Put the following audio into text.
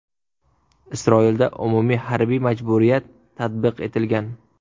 Isroilda umumiy harbiy majburiyat tatbiq etilgan.